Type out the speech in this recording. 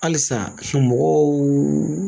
Halisa mɔgɔw